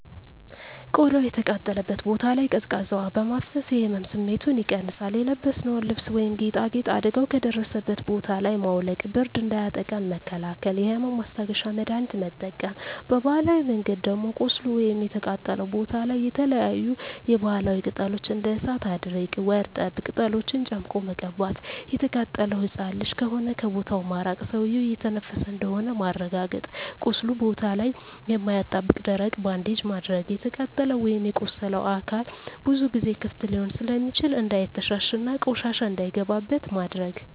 ቆዳው የተቃጠለበት ቦታ ላይ ቀዝቃዛ ውሀ በማፍሰስ የህመም ስሜቱን ይቀንሳል :የለበስነውን ልብስ ወይም ጌጣጌጥ አደጋው ከደረሰበት ቦታ ላይ ማውለቅ ብርድ እንዳያጠቃን መከላከል የህመም ማስታገሻ መድሀኒት መጠቀም በባህላዊ መንገድ ደም ቁስሉ ወይም የተቃጠለው ቦታ ላይ የተለያዪ የባህላዊ ቅጠሎች እንደ እሳት አድርቅ ወርጠብ ቅጠሎችን ጨምቆ መቀባት። የተቃጠለው ህፃን ልጅ ከሆነ ከቦታው ማራቅ ሰውዬው እየተነፈሰ እንደሆነ ማረጋገጥ ቁስሉ ቦታ ላይ የማያጣብቅ ደረቅ ባንዴጅ ማድረግ። የተቃጠለው ወይም የቆሰለው አካል ብዙ ጊዜ ክፍት ሊሆን ስለሚችል እንዳይተሻሽ እና ቆሻሻ እንዳይገባበት ማድረግ።